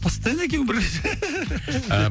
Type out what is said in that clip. постоянно екеуің бірге деп